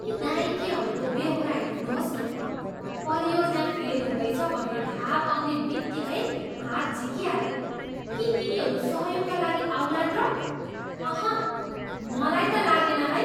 यी नाइकेहरूको बेहोरा हेर्नुहोस् न। परियोजना फेल हुँदैछ भन्ने थाहा पाउने बित्तिकै हात झिकिहाले। के यिनीहरू सहयोगका लागि आउलान् र? अहँ, मलाई त लागेन है!